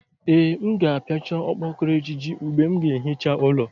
Ee, m ga-apiachá okpokoro ejiji mgbe m ga-ehicha ụlọ